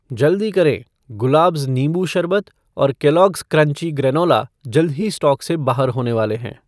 जल्दी करें, ग़ुलाब्ज़ नींबू शरबत और केलॉगस क्रंची ग्रेनोला जल्द ही स्टॉक से बाहर होने वाले हैं